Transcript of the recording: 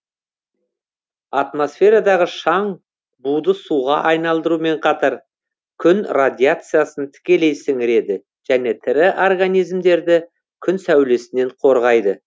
атмосферадағы шаң буды суға айналдырумен қатар күн радиациясын тікелей сіңіреді және тірі организмдерді күн сәулесінен қорғайды